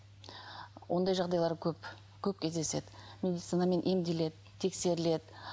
ондай жағдайлар көп көп кездеседі медицинамен емделеді тексеріледі